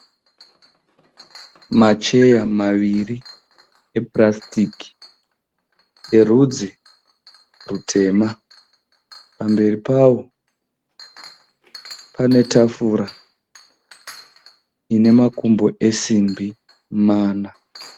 Macheya maviri epurasitiki erudzi rutema pamberi pao pane tafura ine makumbo esimbi mana.